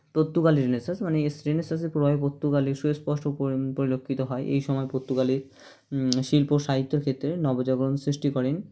Portugal Renaissance মানে Renaissance -এর প্রভাবে পর্তুগালে সুস্পষ্ট পরি পরিলক্ষিত হয় এই সময় পর্তুগালে শিল্প সাহিত্যর ক্ষেত্রে নবজাগরণ সৃষ্টি করেন